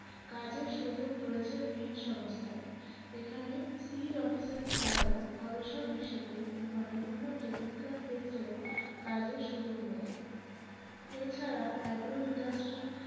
কাজের সুযোগ রয়েছে বীজ সংস্থায় এখানে seed officer ছাড়াও গবেষক হিসেবে কিংবা বিভিন্ন technical ক্ষেত্রেও কাজের সুযোগ মেলে এছাড়া agroindustry